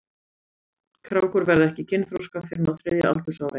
Krákur verða ekki kynþroska fyrr en á þriðja aldursári.